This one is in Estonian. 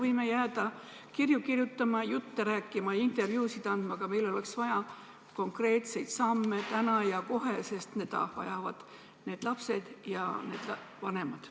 Me võime jääda kirju kirjutama, jutte rääkima ja intervjuusid andma, aga meil oleks vaja konkreetseid samme täna ja kohe, sest seda vajavad need lapsed ja nende vanemad.